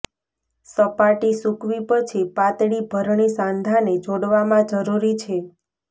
સપાટી સૂકવી પછી પાતળી ભરણી સાંધાને જોડવામાં જરૂરી છે